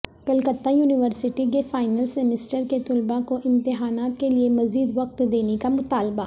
Calcutta university کے final semester کے طلباء کوامتحانات کے لئے مزید وقت دینے کا مطالبہ